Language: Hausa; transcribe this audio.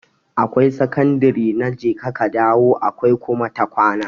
Akwai sakandare na jeka ka dawo akwai kuma ta kwana.